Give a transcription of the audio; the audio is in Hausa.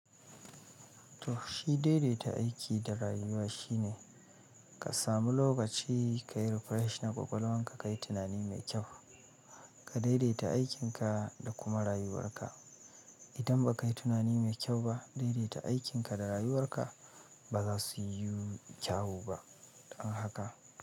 Toh, shi daidaita aiki da rayuwa shine ka samu lokaci kayi refreshing kwakwalwanka, kayi tunani mai kyau, ka daidaita aikinka da kuma rayuwarka. Idan ba ka yi tunani mai kyau ba, daidaita aikinka da rayuwarka ba za su yi kyau ba. Don haka.